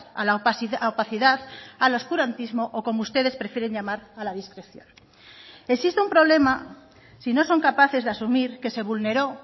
a la opacidad al oscurantismo o como ustedes prefieren llamar a la discreción existe un problema si no son capaces de asumir que se vulneró